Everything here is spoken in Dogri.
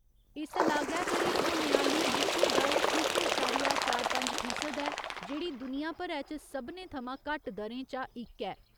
इस लागै करी होने आली मृत्यु दर इक अशारिया चार पंज फीसद ऐ जेह्ड़ी दुनिया भरै च सबनें थमां घट्ट दरें चा इक ऐ।